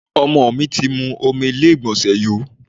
Ọmọ mi ti mú omi ilé ìgbọ̀nsẹ̀ yó.